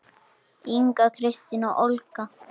Inga, Kristín og Olga.